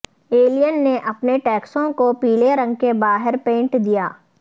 Alan نے اپنے ٹیکسوں کو پیلے رنگ کے باہر پینٹ دیا